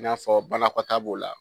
I n'a fɔ banakɔta b'o la.